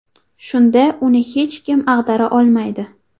Shunda uni hech kim ag‘dara olmaydi.